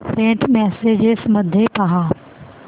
Saint messages मध्ये पहा